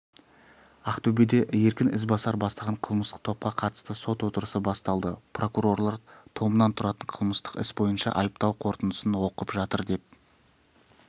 ақтөбеде еркін ізбасар бастаған қылмыстық топқа қатысты сот отырысы басталды прокурорлар томнан тұратын қылмыстық іс бойынша айыптау қорытындысын оқып жатыр деп